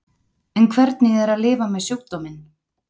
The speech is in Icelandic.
En hvernig er að lifa með sjúkdóminn?